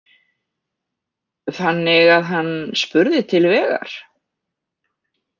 Þannig að hann spurði til vegar?